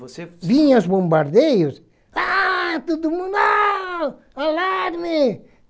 vocẽ. Vinha as bombardeios, ah(desespero) todo mundo... Ah... Alarme!